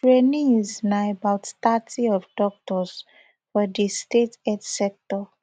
trainees na about thirty of doctors for di state health sector